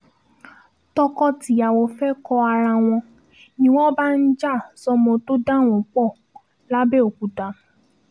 tọkọ-tìyàwó fẹ́ẹ́ kọ́ ara wọn ni wọ́n bá ń já sọ́mọ tó dà wọ́n pọ̀ làbẹ́òkúta